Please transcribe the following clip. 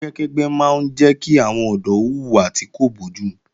Ẹgbẹ́kẹ́gbẹ́ máa ń jẹ́ kí àwọn ọ̀dọ́ hùwà tí kò bójúmu